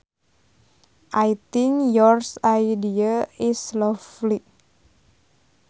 I think your idea is lovely